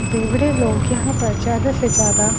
बेवड़े लोग यहां पर ज्यादा से ज्यादा--